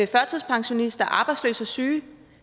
førtidspensionister arbejdsløse syge